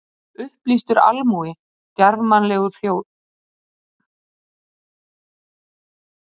Upplýstur almúgi, djarfmannleg þjóð!